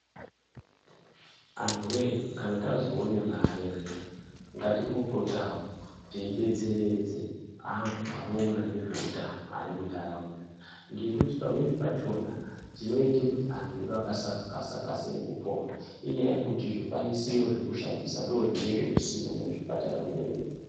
Anhu woye kana tazoona mare zviyani ngatimbopotawo teidetseredza antu anoona nezvehutano ngekuti pamweni pacho tinoita kuti antu asakasira kupora ngekuti zvikwanisiro zvekushandisa zvinenge zvisimo muzvipatara zvedu.